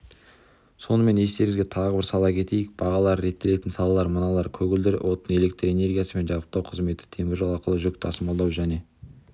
сонымен естеріңізге тағы бір сала кетейік бағалары реттелетін салалар мыналар көгілдір отын электр энергиясымен жабдықтау қызметі теміржол арқылы жүк тасымалдау және